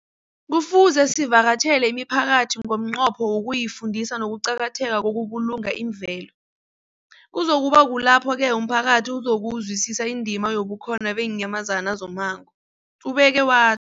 Kufuze sivakatjhele imiphakathi ngomnqopho wokuyifundisa ngokuqakatheka kokubulunga imvelo. Kuzoku ba kulapho-ke umphakathi uzokuzwisisa indima yobukhona beenyamazana zommango, ubeke wa